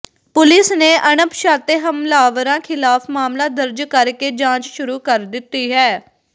police ਨੇ ਅਣਪਛਾਤੇ ਹਮਲਾਵਰਾਂ ਖ਼ਿਲਾਫ਼ ਮਾਮਲਾ ਦਰਜ ਕਰ ਕੇ ਜਾਂਚ ਸ਼ੁਰੂ ਕਰ ਦਿੱਤੀ ਹੈ